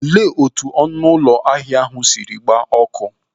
Olee etu ọnụ ụlọ ahịa ndị ahụ siri gbaa ọkụ?